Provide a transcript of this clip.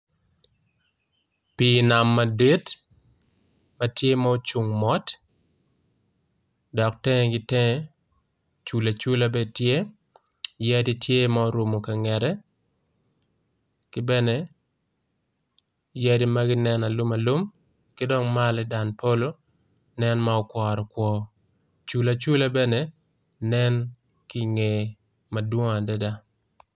Pi nam madit matye ma ocung mot dok tenge gi tenge cula cula bene tye yadi tye ma orumo kangete kibene yadi magi nen aluma alum kidong malo i dan polo nen ma okwaro kwor cula cula bene nen kinge madwong adada.